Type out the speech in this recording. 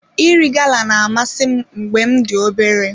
Iri gala na-amasị m mgbe m dị obere.